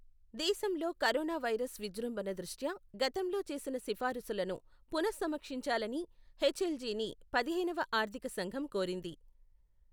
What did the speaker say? దేశంలో corona virus విజృంభణ దృష్ట్యా, గతంలో చేసిన సిఫారసులను పునః సమీక్షించాలని హెచ్ఎల్జీని పదిహేనవ ఆర్థిక సంఘం కోరింది.